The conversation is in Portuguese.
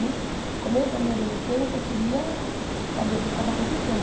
Nisso o começo da minha adolescência, eu queria saber o que estava acontecendo.